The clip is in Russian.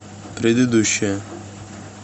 предыдущая